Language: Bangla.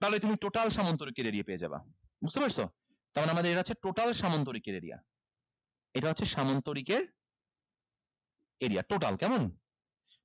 তাহলে তুমি total সামান্তরিকের area পেয়ে যাবা বুঝতে পারছো তাহলে আমাদের এটা হচ্ছে total সামান্তরিকের area এটা হচ্ছে সামন্তরিকের area total কেমন